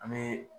An bɛ